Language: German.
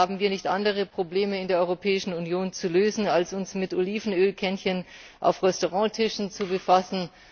Haben wir nicht andere Probleme in der Europäischen Union zu lösen, als uns mit Olivenölkännchen auf Restauranttischen zu befassen?